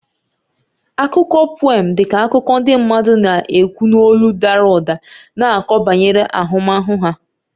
Akụkọ pùém dị ka akụkọ ndị mmadụ na-ekwu n'olu dara ụda na-akọ banyere ahụmahụ ha